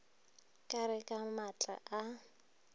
ka re ka matla a